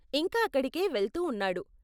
ఇంకా అక్కడికే వెళ్తూ ఉన్నాడు.